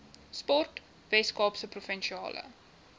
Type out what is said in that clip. sport weskaapse provinsiale